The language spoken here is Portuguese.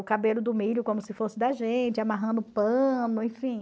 O cabelo do milho como se fosse da gente, amarrando pano, enfim.